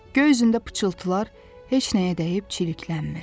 Göy üzündə pıçıltılar heç nəyə dəyib çirklənmir.